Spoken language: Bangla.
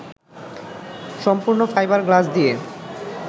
সম্পূর্ণ ফাইবার গ্লাস দিয়ে